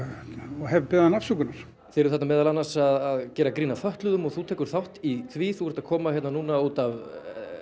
og hef beðið hana afsökunar þið eruð þarna meðal annars að gera grín að fötluðum og þú tekur þátt í því þú ert að koma hérna núna út af